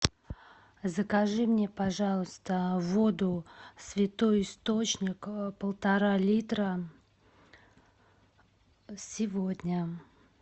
закажи мне пожалуйста воду святой источник полтора литра сегодня